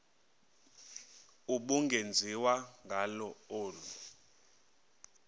ubungenziwa ngalo olu